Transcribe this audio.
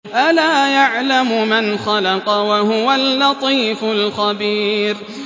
أَلَا يَعْلَمُ مَنْ خَلَقَ وَهُوَ اللَّطِيفُ الْخَبِيرُ